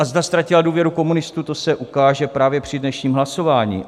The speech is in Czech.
A zda ztratila důvěru komunistů, to se ukáže právě při dnešním hlasování.